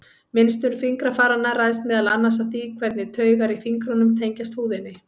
Mynstur fingrafaranna ræðst meðal annars af því hvernig taugar í fingrunum tengjast húðinni.